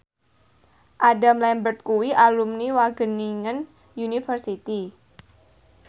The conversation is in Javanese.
Adam Lambert kuwi alumni Wageningen University